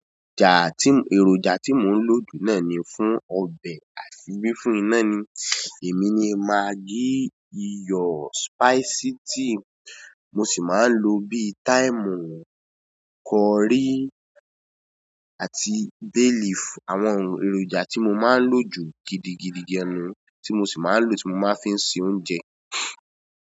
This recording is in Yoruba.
Ẹ̀rọjà tí, èròjà tí mò ń lò jù náà ni fún ọbẹ̀ àti bí fún iná ni. Èmi ni maggi, iyọ̀ spicity mo sì máa ń lo bí thyme, curry àti bay leaf. Àwọn èròjà tí mo máa ń lò jù gidigidi gan tí mo sì máa ń lò tí mo máa fi ń se oúnjẹ.